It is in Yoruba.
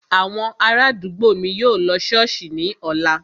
Àwọn ará àdúgbò mi yóò lọ ṣọ́ọ̀ṣì ní ọ̀la